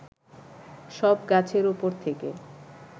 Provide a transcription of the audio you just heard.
সব গাছের উপর থেকে